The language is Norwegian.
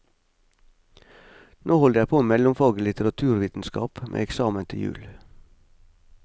Nå holder jeg på med mellomfag i litteraturvitenskap, med eksamen til jul.